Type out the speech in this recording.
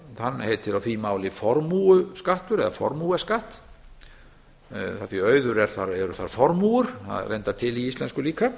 hann heitir á því máli formúuskattur eða formueskatt af því að auður er þar formúur það er reyndar til í íslensku líka